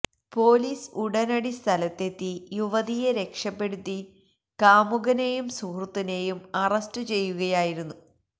police ഉടനടി സ്ഥലത്തെത്തി യുവതിയെ രക്ഷപ്പെടുത്തി കാമുകനെയും സുഹൃത്തിനെയും അറസ്റ്റ് ചെയ്യുകയായിരുന്നു